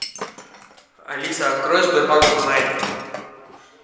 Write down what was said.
алиса открой сбербанк онлайн